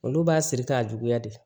Olu b'a siri k'a juguya de